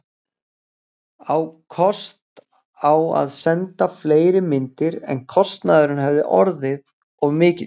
Á kost á að senda fleiri myndir, en kostnaðurinn hefði orðið of mikill.